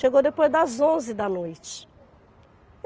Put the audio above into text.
Chegou depois das onze da noite.